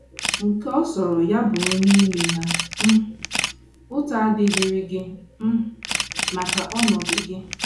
Nke ọ sọrọ ya bụrụ n’ime ha um, ụta adịghịrị gị um maka ọnọdụ gị.